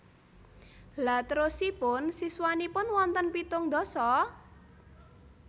Lha terosipun siswanipun wonten pitung ndasa?